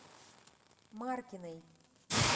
маркиной